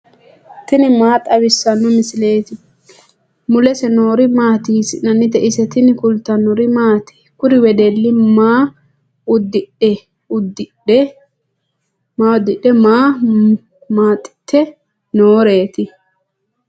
tini maa xawissanno misileeti ? mulese noori maati ? hiissinannite ise ? tini kultannori maati? Kuri wedelli maa udidhe? maa maxiitte nooreetti?